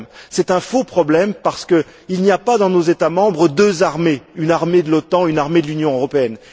C'est un faux problème parce qu'il n'y pas, dans nos États membres, deux armées, une armée de l'OTAN et une armée de l'Union européenne.